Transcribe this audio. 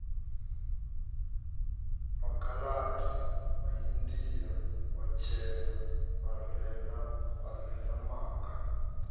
makhaladi maindia vhatshena vharema makha